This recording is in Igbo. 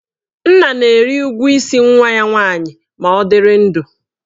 Nna na-eri ụgwọ isi nwa ya nwaanyị ma ọ dịrị ndụ.